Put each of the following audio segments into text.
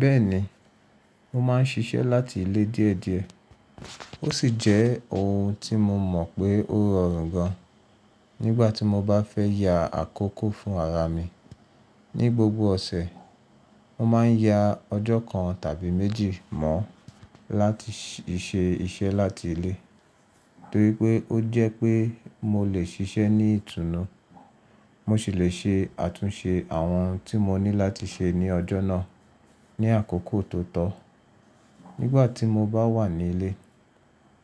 Bẹ́ẹ̀ni, mo máa ń ṣiṣẹ́ láti ilé díẹ̀ díẹ̀, ó sì jẹ́ ohun tí mo mọ̀ pé ó rọrùn gan, nígbà tí mo bá fẹ́ ya àkókò fún ara mi. Ni gbogbo ọ̀sẹ̀, mo máa ń ya ọjọ́ kan tàbí méjì mọ́ láti ṣe iṣẹ́ láti ilé, torí pé ó jẹ́ pé mo lè ṣiṣẹ́ ní ìtùnú. Mo sì le ṣe àtúnṣe àwọn ohun tí mo ní láti ṣe ní ọjọ́ náà ní àkókò tó tọ́. Nígbà tí mo bá wà ní ilé,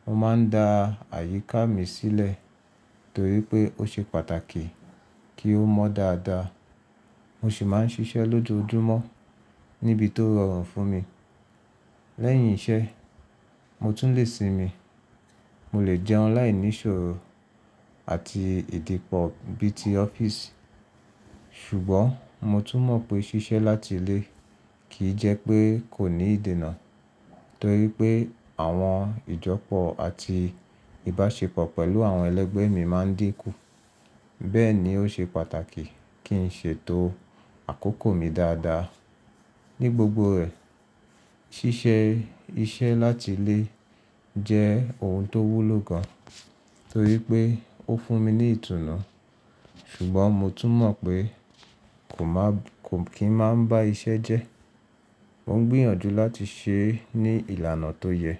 mo máa ń da àyíká mi sílẹ̀ torí pé ó ṣe pàtàkì kí ó mọ́ dáadáa. Mo sì máa ń ṣiṣẹ́ lójoojúmọ́ níbi tó rọrùn fún mi. Lẹ́yìn iṣẹ́, mo tún lè sinmi, mo lè jẹun láìní ìṣòro àti ìdìpọ̀ bí ti office. Ṣùgbọ́n mo tún mọ̀ pé ṣiṣẹ́ láti ilé kì í jẹ́ pé kò ní ìdènà torí pé àwọn ìjọ́pọ̀ àti ìbáṣepọ̀ pẹ̀lú àwọn ẹlẹgbẹ́ mi máa ń dínkù. Bẹ́ẹ̀ ni ó ṣe pàtàkì kí n ṣètò àkókò mi dáadáa. Ni gbogbo rẹ̀, ṣíṣe iṣẹ́ láti ilé jẹ́ ohun tó wúlò gan torí pé ó fún mi ní ìtùnú. Ṣùgbọ́n mo tún mọ̀ pé kò maa, ko kín máa ń bá iṣẹ́ jẹ́. Mo ń gbìyànjú láti ṣe é ní ìlànà tó yẹ.